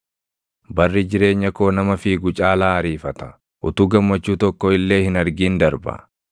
“Barri jireenya koo nama fiigu caalaa ariifata; utuu gammachuu tokko illee hin argin darba.